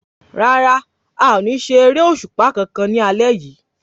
Rárá, a ò ní ṣeré òṣùpá kankan lálé yìí